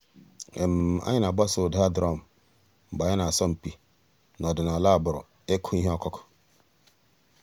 ànyị̀ nà-àgbàsò ǔ́dà drum mgbè ànyị̀ nà-àsọ̀ mpị̀ n'ọ̀dìnàlà àgbùrù ị̀kụ̀ íhè ǒkụ̀kụ̀.